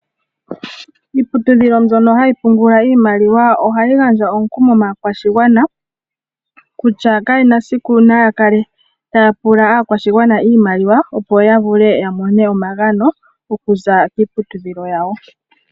Iiputudhilo mbyono hayi pungula iimaliwa ohayi gandja omukumo maakwashigwana kutya kayena esiku naa kale taapula aakwashigwana iimaliwa opo yavule yamone omagano okuza kiiputudhilo yawo.